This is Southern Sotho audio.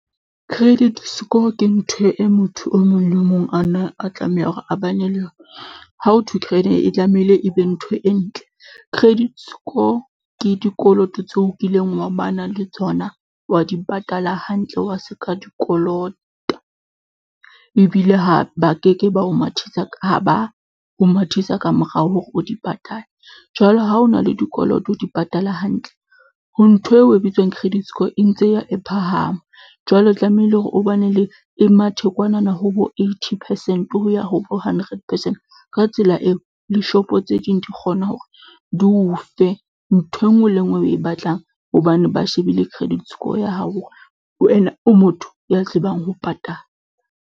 Credit score ke ntho e motho o mong le mong ana a tlameha hore a ba ne le yona. Ha ho thwe e tlamehile e be ntho e ntle. Credit score ke dikoloto tseo o kileng wa ba na le tsona, wa di patala hantle, wa se ka di kolota. Ebile ha ba ke ke ba o mathisa ka ba ho mathisa ka morao hore o di patale. Jwale ha ho na le dikoloto o di patale hantle ho ntho eo e bitswang credit score e ntse e ya e phahama. Jwale tlamehile hore o ba na le e mathe kwana na, ho bo eighty percent. Ho ya ho bo hundred percent ka tsela eo, le shop-o tse ding di kgona hore di o fe ntho e nngwe le e nngwe o e batlang. Hobane ba shebile credit score ya hao hore wena o motho ya tsebang ho patala.